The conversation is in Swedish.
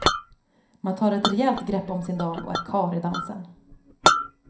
Man tar ett rejält grepp om sin dam och är karl i dansen.